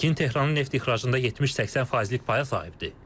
Pekin Tehranın neft ixracında 70-80 faizlik paya sahibdir.